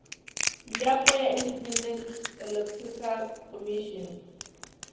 yapo ya independent electoral commission